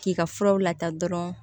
K'i ka furaw lataa dɔrɔn